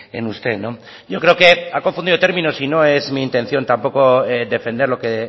en usted no yo creo que ha confundido términos y no es mi intención mi intención tampoco defender lo que